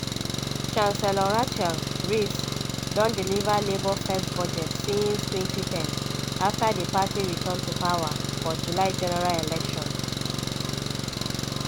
chancellor rachel reeves don deliver labour first budget since 2010 after di party return to power for july general election.